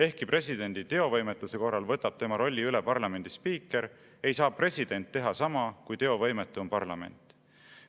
Ehkki presidendi teovõimetuse korral võtab tema rolli üle parlamendi spiiker, ei saa president teha sama, kui teovõimetu on parlament.